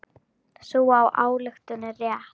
Sú ályktun er rétt.